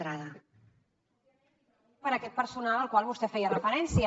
per aquest personal al qual vostè feia referència